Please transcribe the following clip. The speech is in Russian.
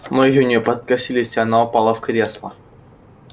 ноги у нее подкосились и она упала в кресло